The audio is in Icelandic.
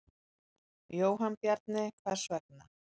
Jóhann Bjarni: Hvers vegna?